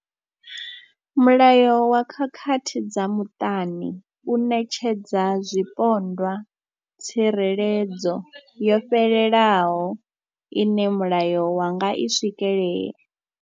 Mulayo wa khakhathi dza muṱani u ṋetshedza zwipondwa tsireledzo yo fhelelaho ine mulayo wa nga i swikelela.